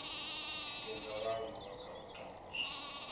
tikedza vhaaluwa kha u tambudzwa